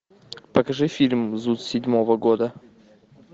покажи фильм зуд седьмого года